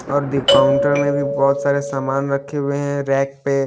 और दे-काउंटर में भी बहुत सारे सामान रखे हुए हैं रैक पे--